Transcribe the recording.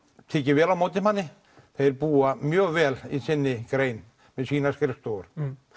tekið vel á móti manni þeir búa mjög vel í sinni grein með sínar skrifstofur